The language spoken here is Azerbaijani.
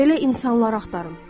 Belə insanlar axtarın.